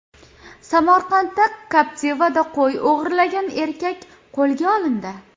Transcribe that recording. Samarqanda Captiva’da qo‘y o‘g‘irlagan erkak qo‘lga olindi.